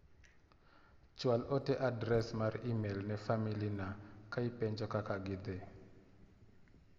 chwal ote adres mar imel ne famili na ka ipenjo kaka gidhi.